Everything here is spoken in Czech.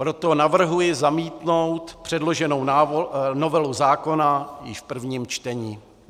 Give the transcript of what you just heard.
Proto navrhuji zamítnout předloženou novelu zákona již v prvním čtení.